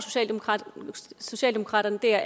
socialdemokraterne der